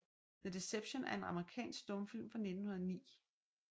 The Deception er en amerikansk stumfilm fra 1909 af D